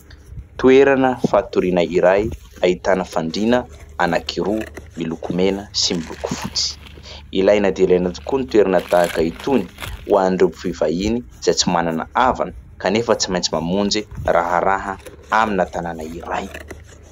Toerana fatoriana iray, ahitana fandriana anakiroa : miloko mena sy miloko fotsy. Ilaina dia ilaina tokoa ny toerana tahaka itony, ho an'ireo mpivahiny izay tsy manana havana kanefa tsy maintsy mamonjy raharaha amin'ny tanàna iray.